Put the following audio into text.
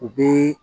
U bi